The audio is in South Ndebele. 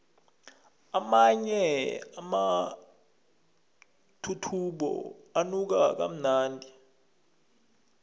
amanye amathuthumbo anuka kamnandi